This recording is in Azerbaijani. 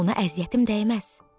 Ona əziyyətim dəyməz.